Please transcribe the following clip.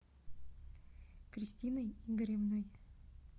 кристиной игоревной